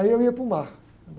Aí, eu ia para o mar